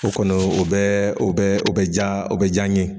O kɔni o bɛ o bɛ o bɛ ja o bɛ j'an ye